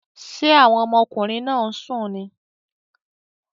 Ṣé àwọn ọmọkùnrin náà ń sùn ni?